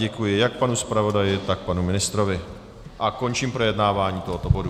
Děkuji jak panu zpravodaji, tak panu ministrovi a končím projednávání tohoto bodu.